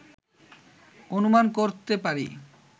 অনুমান করতে পারি